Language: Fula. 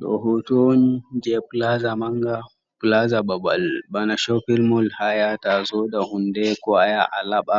Do hutuwon je plaza manga plaza babbal bana shoupilmol hayata zoda hunde ko aya alaba